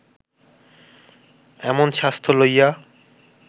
এমন স্বাস্থ্য লইয়া